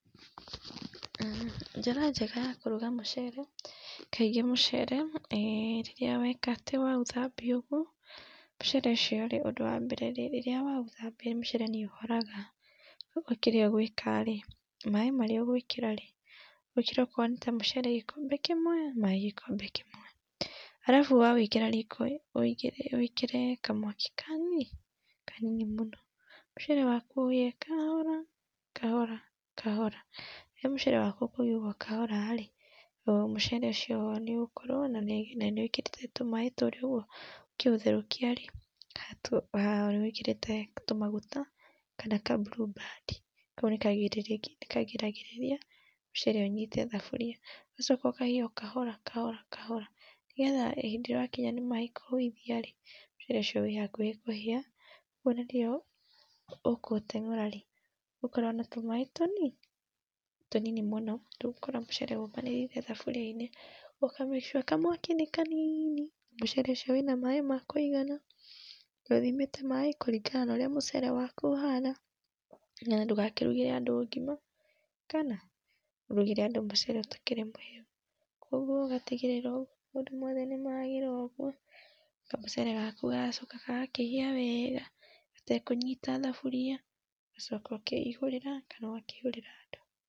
Njĩra njega ya kũruga mũcere kaĩngĩ mucere, rĩrĩa wĩka atĩ waũthambia ũguo mũcere ũcio ũndũ wa mbere rĩrĩa waũthambia mũcere nĩ ũhoraga, ũguo kĩrĩa ũgwĩka maĩ marĩa ũgwĩkĩrarĩ wĩkĩre okorwo nĩ ta mũcere gĩkombe kĩmwe maĩ gĩkombe kĩmwe. Arabu wawĩkĩra riko ũwĩigĩrĩre wĩkĩre kamwaki kani kanini mũno. Mũcere waku ũhĩe kahora, kahora, kahora. Rĩu mũcere waku ũkũhia ũguo kahora rĩ mũcere ũcio nĩũgũkorwo na nĩ wĩkĩrĩte tũmaĩ tũríĩ ũkĩũtherũkia rĩ nĩwĩkĩrĩte tũmaguta kana ka blueband kau nĩ kagiragĩrĩria mũcere ũnyite thaburia ũgacoka ũkahĩa kahora kahora kahora, nĩgetha hĩndĩ ĩrĩa wakiya nĩ maĩ kũhuithia rĩ mũcere ũcio wĩ hakuhĩ kũhia kwogwo ona rĩrĩa ũkũ ũteng'ura rĩ ũgũkorwo na tũmaĩ tũnii tũnini mũno ndũgũkorwo mũcere ũmbanĩrĩire thuburia-inĩ ũka make sure kamwaki nĩ kanini mũcere ũcio wĩna maĩ ma kũigana, nĩ ũthimĩte maĩ kũringana na ũrĩa mũcere waku ũhana, na ndũgakĩrũgĩre andũ ngima, kana ũrũgĩre andu mucere utarĩ mũhĩu kwa ũguo ũgatigĩrĩra maũndũ mothe nĩmagĩra ũguo kamũcere gaku gagacoka gagakĩhĩa wega, gatekũnyita thaburia ũgacoka ũkeihũrĩra kana ũgakĩihurĩra andũ.